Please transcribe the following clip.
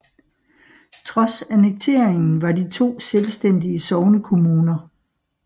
Trods annekteringen var de to selvstændige sognekommuner